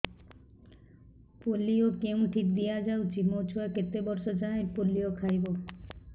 polio କେଉଁଠି ଦିଆଯାଉଛି ମୋ ଛୁଆ କେତେ ବର୍ଷ ଯାଏଁ ପୋଲିଓ ଖାଇବ